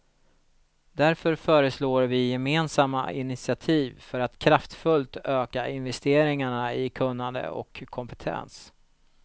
Därför föreslår vi gemensamma initiativ för att kraftfullt öka investeringarna i kunnande och kompetens.